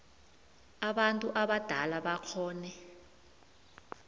abantu abadala bakghone